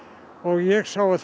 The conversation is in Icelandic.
ég sá að það